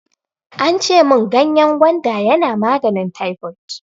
Ance mun ganyen gwanda yana maganin taifot.